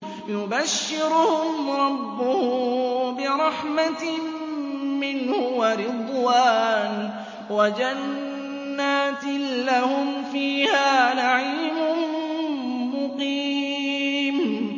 يُبَشِّرُهُمْ رَبُّهُم بِرَحْمَةٍ مِّنْهُ وَرِضْوَانٍ وَجَنَّاتٍ لَّهُمْ فِيهَا نَعِيمٌ مُّقِيمٌ